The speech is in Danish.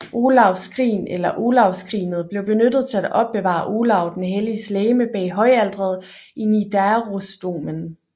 Olavs skrin eller Olavsskrinet blev benyttet til at opbevare Olav den Helliges legeme bag højalteret i Nidarosdomen